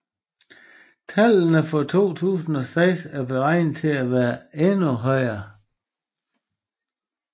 Tallene for 2006 er beregnet at være endda højere